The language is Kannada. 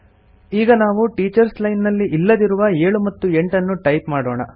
ಈಗ ನಾವು ಟೀಚರ್ಸ್ ಲೈನ್ ನಲ್ಲಿ ಇಲ್ಲದಿರುವ 7 ಮತ್ತು 8 ನ್ನು ಟೈಪ್ ಮಾಡೋಣ